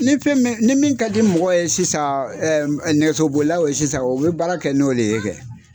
Ni fɛn ni min ka di mɔgɔ ye sisan nɛgɛsobolilaw ye sisan o bɛ baara kɛ n'o de ye kɛ.